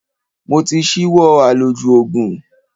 Mo ti ṣíwọ́ àlòjù Ògùn.